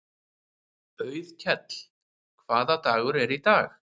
Auðkell, hvaða dagur er í dag?